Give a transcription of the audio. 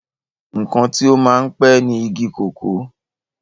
ǹkan tí ó máa ń pẹ́ ni igi kòkó